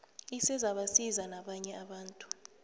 isezabasiza nabanye abantu